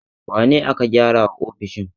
Wane ne aka gyara wa ofishin?